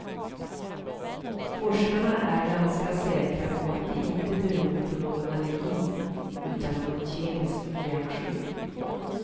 Forskarna är ganska säkra på att det inte beror på någon allergi utan på en kemisk reaktion.